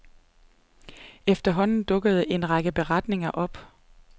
Efterhånden dukkede der en række beretninger op.